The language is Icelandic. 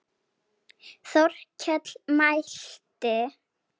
Þórkell mælti